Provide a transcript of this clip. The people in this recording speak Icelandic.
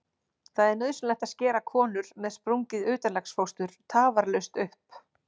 Það er nauðsynlegt að skera konur með sprungið utanlegsfóstur tafarlaust upp.